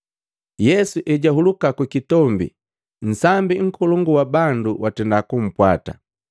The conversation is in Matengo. Yesu ejahuluka ku kitombi, nsambi nkolongu wa bandu watenda kumpwata.